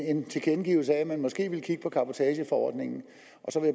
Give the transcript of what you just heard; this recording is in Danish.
en tilkendegivelse af at man måske også ville kigge på cabotageforordningen